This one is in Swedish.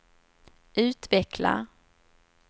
utveckla